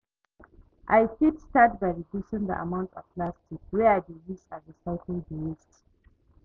I fit start by reducing di amount of plastic wey i dey use and recycle di waste.